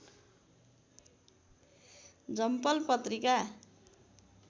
झम्पल पत्रिका